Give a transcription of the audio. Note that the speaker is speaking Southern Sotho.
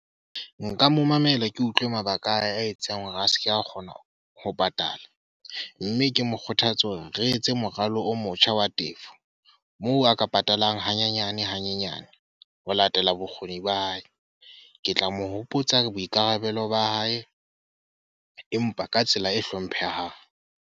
Nka mo mamela, ke utlwe mabaka a etsang hore a seke a kgona ho patala. Mme ke mo kgothatso hore re etse moralo o motjha wa tefo, moo a kapa etelang hanyenyane hanyenyane ho latela bokgoni ba hae. Ke tla mo hopotsa boikarabelo ba hae, empa ka tsela e hlomphehang.